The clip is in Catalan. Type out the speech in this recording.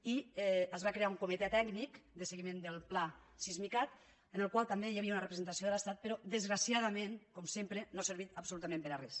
i es va crear un comitè tècnic de seguiment del pla sismicat en el qual també hi havia una representació de l’estat però desgraciadament com sempre no ha servit absolutament per a res